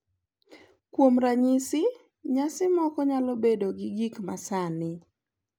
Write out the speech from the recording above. Kuom ranyisi, nyasi moko nyalo bedo gi gik ma sani,